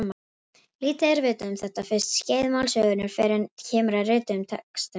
Lítið er vitað um þetta fyrsta skeið málsögunnar fyrr en kemur að rituðum textum.